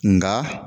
Nga